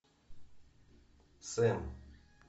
сэм